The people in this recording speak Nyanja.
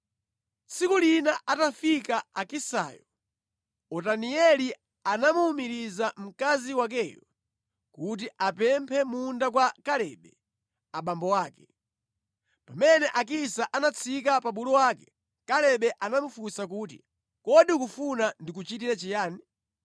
Tsiku lina atafika Akisayo, Otanieli anamuwumiriza mkazi wakeyo kuti apemphe munda kwa Kalebe abambo ake. Pamene Akisa anatsika pa bulu wake, Kalebe anamufunsa kuti, “Kodi ukufuna ndikuchitire chiyani.”